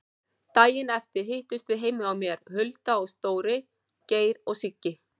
Daginn eftir hittumst við heima hjá mér, Hulda og Dóri, Geir og Siggi.